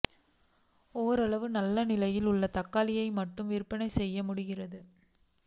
ஓரளவு நல்ல நிலையில் உள்ள தக்காளி மட்டுமே விற்பனை செய்ய முடிகிறது